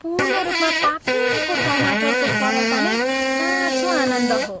पूर्ण रूपमा पाकेको टमाटरको सरलता नै साँचो आनन्द हो।